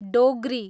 Dogri